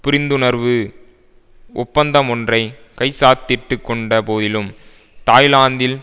புரிந்துணர்வு ஒப்பந்தமொன்றை கைச்சாத்திட்டுக் கொண்ட போதிலும் தாய்லாந்தில்